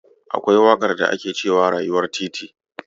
Akwai waƙar da ake cewa "Rayuwar titi".